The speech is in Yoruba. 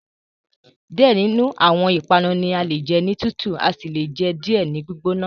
Diẹ ninu awọn ipanu ni ale jẹ ni tutu asi le jẹ diẹ ni gbigbona